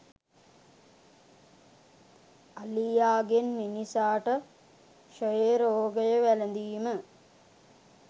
අලියාගෙන් මිනිසාට ක්‍ෂයරෝගය වැළඳීම